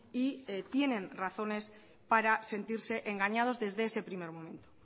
y tienen razones para sentirse engañados desde ese primer momento